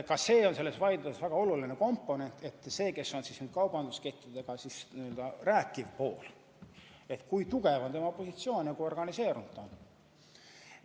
Ka see on selles vaidluses väga oluline aspekt, kui tugev on kaubanduskettidega rääkiva poole positsioon ja kui organiseerunud ta on.